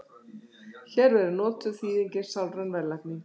hér verður notuð þýðingin sálræn verðlagning